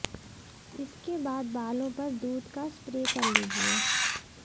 इसके बाद बालों पर दूध का स्प्रे कर लीजिए